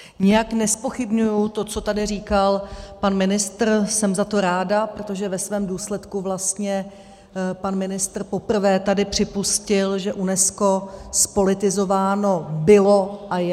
Nijak nezpochybňuji to, co tady říkal pan ministr, jsem za to ráda, protože ve svém důsledku vlastně pan ministr poprvé tady připustil, že UNESCO zpolitizováno bylo a je.